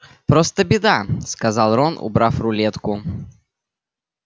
просто беда сказал рон убрав рулетку